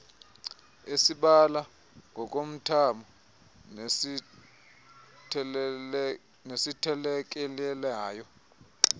esibala ngokomthamo nesithelekelelayo